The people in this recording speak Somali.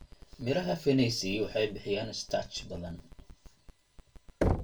Midhaha fenesi waxay bixiyaan starch badan.